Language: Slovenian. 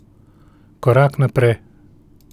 Korak naprej.